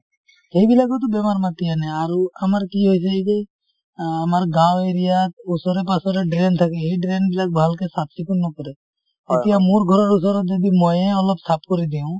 সেই বিলাকেওটো বেমাৰ মাতি আনে আৰু আমাৰ কি হৈছে এই যে অ আমাৰ গাওঁ area ত ওচৰে পাজৰে drain থাকে সেই drain বিলাক ভালকে চাফ চিকুন নকৰে । এতিয়া মোৰ ঘৰৰ ওচৰত যদি ময়েই অলপ চাফ কৰি দিও।